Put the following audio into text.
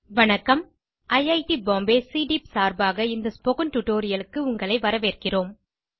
வணக்கம் IIT Bombay CDEEP சார்பாக இந்த ஸ்போக்கன் Tutorialக்கு உங்களை வரவேற்கிறோம்